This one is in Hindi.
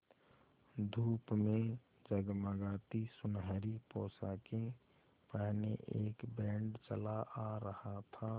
धूप में जगमगाती सुनहरी पोशाकें पहने एक बैंड चला आ रहा था